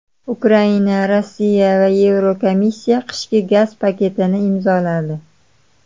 Ukraina, Rossiya va Yevrokomissiya qishki gaz paketini imzoladi.